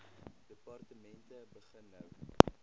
departemente begin nou